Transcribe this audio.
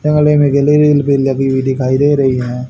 लगी हुई दिखाई दे रही हैं।